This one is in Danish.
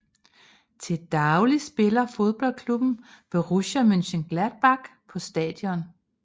Til daglig spiller fodboldklubben Borussia Mönchengladbach på stadion